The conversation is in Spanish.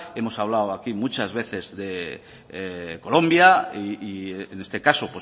hemos hablado aquí muchas veces de colombia y en este caso